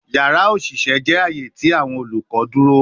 Yara oṣiṣẹ jẹ aaye ti awọn olukọ duro